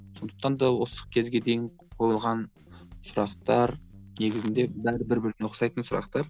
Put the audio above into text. сондықтан да осы кезге дейін қойылған сұрақтар негізінде бәрі бір біріне ұқсайтын сұрақтар